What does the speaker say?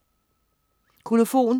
Kolofon